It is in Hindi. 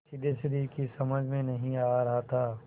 सिद्धेश्वरी की समझ में नहीं आ रहा था